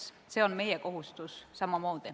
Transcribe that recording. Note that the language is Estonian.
See on samamoodi meie kohustus.